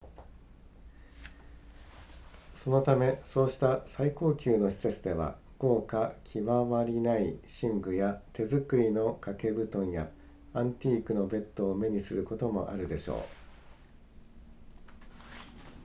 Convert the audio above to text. そのためそうした最高級の施設では豪華極まりない寝具や手作りの掛け布団やアンティークのベッドを目にすることもあるでしょう